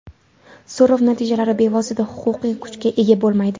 So‘rov natijalari bevosita huquqiy kuchga ega bo‘lmaydi.